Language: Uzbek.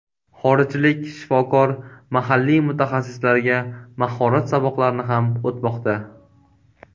Xorijlik shifokor mahalliy mutaxassislarga mahorat saboqlarini ham o‘tmoqda.